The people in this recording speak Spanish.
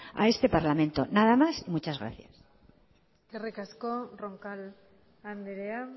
a este parlamento nada más y muchas gracias eskerrik asko roncal andrea